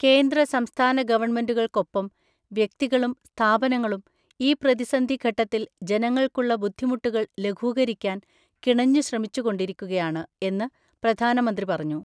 കേന്ദ്ര, സംസ്ഥാന ഗവണ്മെന്റുകൾക്കൊപ്പം വ്യക്തികളും സ്ഥാപനങ്ങളും ഈ പ്രതിസന്ധി ഘട്ടത്തിൽ ജനങ്ങൾക്കുള്ള ബുദ്ധിമുട്ടുകൾ ലഘൂകരിക്കാൻ കിണഞ്ഞു ശ്രമിച്ചുകൊണ്ടിരിക്കുകയാണ് എന്ന് പ്രധാനമന്ത്രി പറഞ്ഞു.